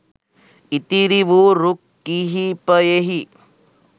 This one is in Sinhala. ඉතිරි වූ රුක් කිහිපයෙහි